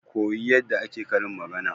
Ke ka koyi yadda ake karin magana